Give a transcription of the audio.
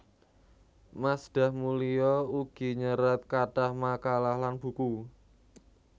Masdah Mulia ugi nyerat kathah makalah lan buku